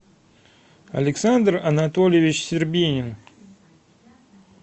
александр анатольевич щербинин